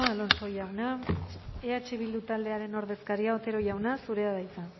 alonso jauna eh bildu taldearen ordezkaria otero jauna zurea da hitza